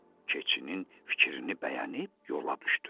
Keçinin fikrini bəyənib yola düşdülər.